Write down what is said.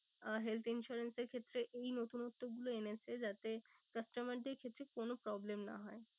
আহ health insurance এর ক্ষেত্রে এই নতুনত্ব গুলো এনেছে যাতে customer এর ক্ষেত্রে কোনো problem না হয়।